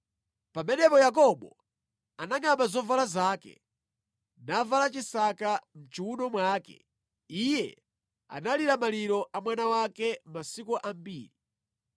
Pamenepo Yakobo anangʼamba zovala zake, navala chisaka mʼchiwuno mwake. Iye analira maliro a mwana wake masiku ambiri.